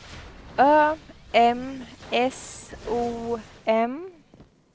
Ö M S O M